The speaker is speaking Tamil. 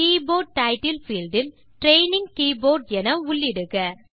கீபோர்ட் டைட்டில் fieldஇல் ட்ரெய்னிங் கீபோர்ட் என உள்ளிடுக